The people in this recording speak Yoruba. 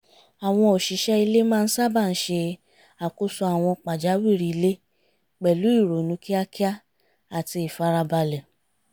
àwọn òṣìṣẹ́ ilé máa ń sábà ṣe àkóso àwọn pàjáwìrì ilé pẹ̀lú ìrònú kíákíá àti ìfarabalẹ̀